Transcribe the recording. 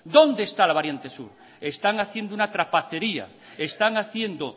dónde está la variante sur están haciendo una trapacería están haciendo